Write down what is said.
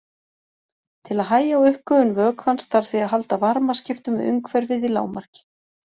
Til að hægja á uppgufun vökvans þarf því að halda varmaskiptum við umhverfið í lágmarki.